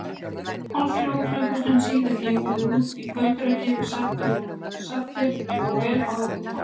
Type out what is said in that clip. Hálfri þriðju klukkustund síðar gengum við út í kvöldrökkrið, saddir og vel á okkur komnir.